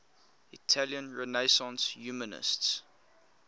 italian renaissance humanists